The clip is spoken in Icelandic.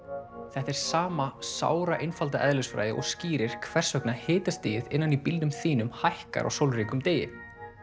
þetta er sama eðlisfræði og skýrir hvers vegna hitastigið innan í bílnum þínum hækkar á sólríkum degi